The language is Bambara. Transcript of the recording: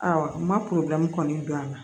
n ma kɔni don a la